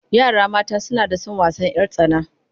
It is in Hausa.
Yara mata suna son wasan 'yar tsana.